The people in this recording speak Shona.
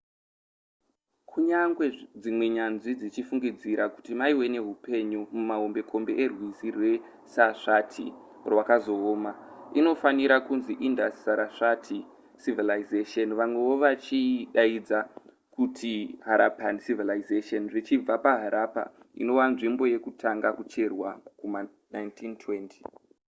kunyangwe dzimwe nyanzvi dzichifungidzira kuti maive nehupenyu mumahombekombe erwizi rwesarsvati rwakazooma inofanira kunzi indus-sarasvati civilisation vamwewo vachiidaidza kuti harappan civilisation zvichibva paharappa inova nzvimbo yekutanga kucherwa kuma1920